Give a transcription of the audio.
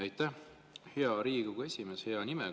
Aitäh, hea Riigikogu esimees!